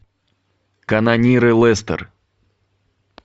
канониры лестер